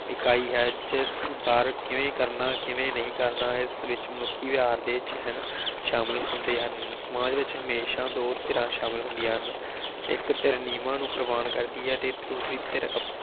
ਇਕਾਈ ਹੈ ਜਿਸ ਅਨੁਸਾਰ ਕਿਵੇਂ ਕਰਨਾ ਕਿਵੇਂ ਨਹੀ ਕਰਨਾ ਵਿਚ ਮਨੁੱਖੀ ਵਿਵਹਾਰ ਦੇ ਚਿਹਨ ਸ਼ਾਮਿਲ ਹੁੰਦੇ ਹਨ। ਸਮਾਜ ਵਿਚ ਹਮੇਸ਼ਾ ਦੋ ਧਿਰਾਂ ਸ਼ਾਮਿਲ ਹੁੰਦੀਆਂ ਹਨ। ਇਕ ਧਿਰ ਨਿਯਮਾਂ ਨੂੰ ਕਰਦੀ ਹੈ ਤੇ ਦੂਸਰੀ ਧਿਰ